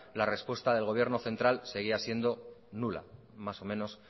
la respuesta del gobierno central seguía siendo nula más o menos